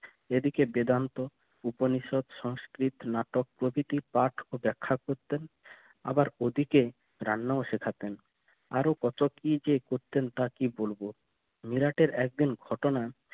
এদিকে বেদান্ত উপনিষদ সংস্কৃত নাটক প্রকৃতি পাঠ ও ব্যাখ্যা করতেন আবার ওদিকে রান্নাও শেখাবেন আরো কত কি যে করতেন তা কি বলবো মিরাটে একদিন ঘটনা